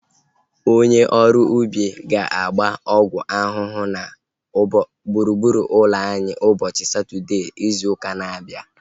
Onye ọrụ ubi ahu ga-agba ọgwụ ahụhụ na gburugburu ụlọ anyị ụbọchị Satọdee izu ụka na-abịa